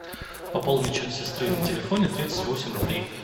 пополнить счет сестры на телефоне тридцать восемь рублей